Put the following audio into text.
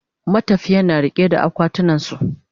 matafiyan na riƙe da akwatunan su